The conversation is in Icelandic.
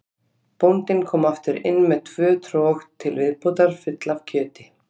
Bóndinn kom aftur inn með tvö trog til viðbótar full af kjöti.